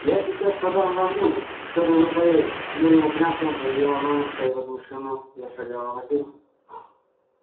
я сейчас подам вам ужин и чтоб вы поели с хмурым упрямством заявила мамушка и возмущённо зашагала на кухню